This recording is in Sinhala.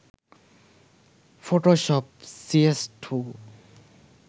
photoshop cs2